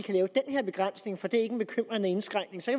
her begrænsning for det er ikke en bekymrende indskrænkning så